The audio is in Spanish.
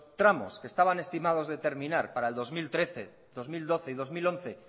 tramos que estaban estimados de terminar para el dos mil trece dos mil doce y dos mil once